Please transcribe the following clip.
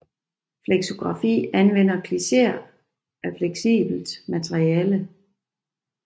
Flexografi anvender klicheer af fleksibelt materiale